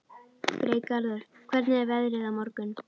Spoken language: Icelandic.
Freygarður, hvernig er veðrið á morgun?